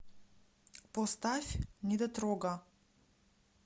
поставь недотрога